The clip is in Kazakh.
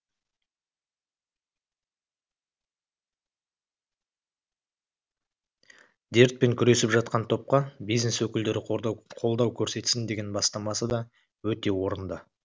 дертпен күресіп жатқан топқа бизнес өкілдері қолдау көрсетсін деген бастамасы да өте орынды